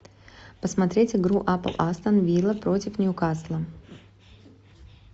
посмотреть игру апл астон вилла против ньюкасла